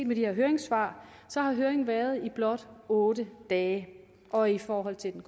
med de her høringssvar har høringen været i blot otte dage og i forhold til den